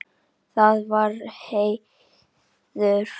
Það var heiður.